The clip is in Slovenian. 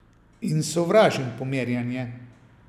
In sovražim pomerjanje!